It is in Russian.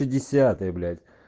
пятьдесятая блять